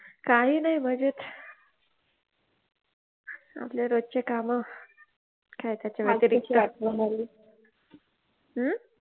काही नाही मजेत आपले रोज चे काम काय त्याचा व्यतिरिक्त आज कशी आठवण आली हम्म